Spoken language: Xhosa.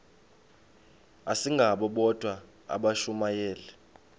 asingabo bodwa abashumayeli